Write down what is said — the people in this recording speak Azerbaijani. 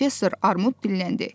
Professor Armud dilləndi.